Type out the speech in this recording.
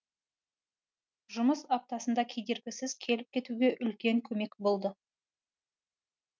жұмыс аптасында кедергісіз келіп кетуге үлкен көмек болды